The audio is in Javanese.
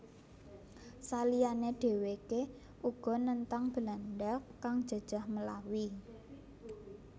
Saliyane dheweke uga nentang Belanda kang jajah Melawi